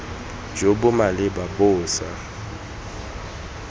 jo bo maleba bo sa